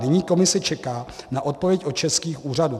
Nyní Komise čeká na odpověď od českých úřadů."